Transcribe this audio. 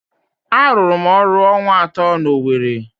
Arụrụ m ọrụ ọnwa atọ n'Owere.